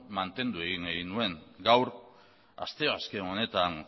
mantendu egin egin nuen gaur asteazken honetan